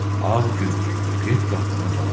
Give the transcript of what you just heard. Ağ Gül, get qapını bağla.